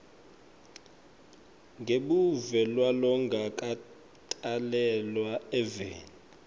ngebuve kwalongakatalelwa eveni